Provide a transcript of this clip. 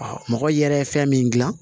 mɔgɔ yɛrɛ ye fɛn min gilan